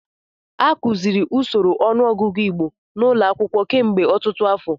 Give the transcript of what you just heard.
A kụziri usoro ọnụọgụgụ Igbo n'ụlọ akwụkwọ kemgbe ọtụtụ afọ.